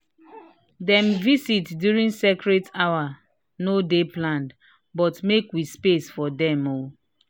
dem visit during sacred hour no dey planned but we make space for dem."